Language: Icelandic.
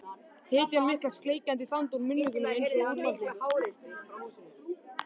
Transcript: Hetjan mikla sleikjandi sand úr munnvikunum einsog úlfaldi.